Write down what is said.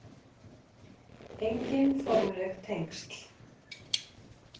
Engin formleg tengsl